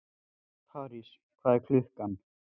París, hvað er klukkan?